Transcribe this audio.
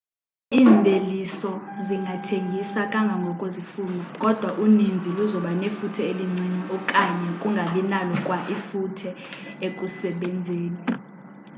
iimveliso zingathengiswa kangangoko zifunwa kodwa uninzi luzoba nefuthe elincinci okanye zingabi nalo kwa ifuthe ekusebenzeni